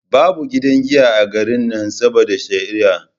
Babu gidan giya a garin nan saboda shari'a